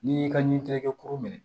N'i y'i ka ɲintigɛkɛ kuru minɛ